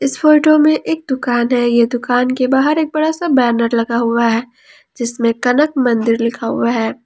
इस फोटो में एक दुकान है ये दुकान के बाहर एक बड़ा सा बैनर लगा हुआ है जिसमें कनक मंदिर लिखा हुआ है।